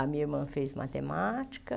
A minha irmã fez matemática.